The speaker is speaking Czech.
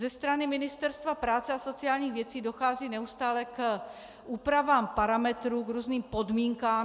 Ze strany Ministerstva práce a sociálních věcí dochází neustále k úpravám parametrů, k různým podmínkám.